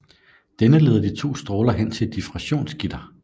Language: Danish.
Denne leder de to stråler hen til et diffraktionsgitter